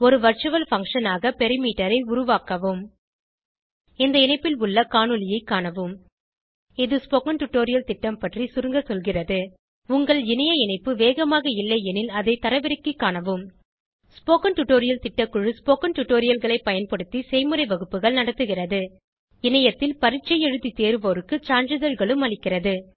ஒரு virtual function ஆக perimeter ஐ உருவாக்கவும் இந்த இணைப்பில் உள்ள காணொளியைக் காணவும் இது ஸ்போகன் டுடோரியல் திட்டம் பற்றி சுருங்க சொல்கிறது உங்கள் இணைய இணைப்பு வேகமாக இல்லையெனில் அதை தரவிறக்கிக் காணவும் ஸ்போகன் டுடோரியல் திட்டக்குழு ஸ்போகன் டுடோரியல்களைப் பயன்படுத்தி செய்முறை வகுப்புகள் நடத்துகிறது இணையத்தில் பரீட்சை எழுதி தேர்வோருக்கு சான்றிதழ்களும் அளிக்கிறது